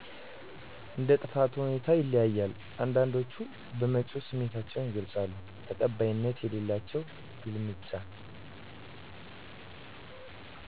እንደጥፋቱ ሁኔታ ይለያያል አንዳንዶች በመጮው ስሜታቸውን ይገልፃሉ ተቀባይነት የሌላቸው ግልምጫ